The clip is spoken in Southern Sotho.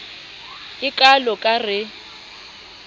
e kalo ka r e